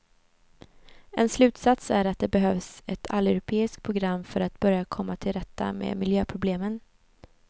En slutsats är att det behövs ett alleuropeiskt program för att börja komma till rätta med miljöproblemen.